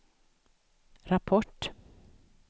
rapport